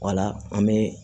Wala an bɛ